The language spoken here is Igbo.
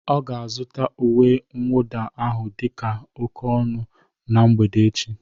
Ọ ga-azụta uwe mwụda ahụ dị oke ọnụ na mgbede echi